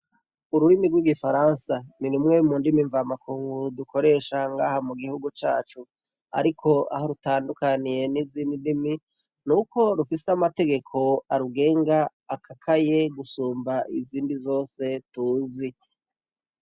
Ururimi rw'igifaransa ni riumwe mu ndimi mva makunguru dukoresha ngaha mu gihugu cacu, ariko aho rutandukaniye n'izindi ndimi ni uko rufise amategeko arugenga akakaye gusumba izindi zose tuzi.